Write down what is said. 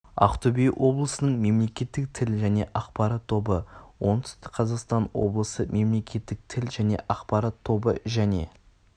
ақтөбе облысының мемлекеттік тіл және ақпарат тобы оңтүстік қазақстан облысы мемлекеттік тіл және ақпарат тобы және